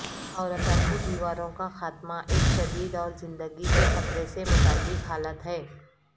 اورتہ کی دیواروں کا خاتمہ ایک شدید اور زندگی کے خطرے سے متعلق حالت ہے